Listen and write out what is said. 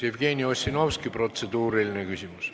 Jevgeni Ossinovski, protseduuriline küsimus.